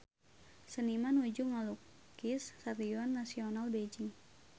Seniman nuju ngalukis Stadion Nasional Beijing